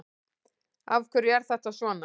Af hverju er þetta svona?